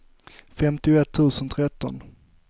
femtioett tusen tretton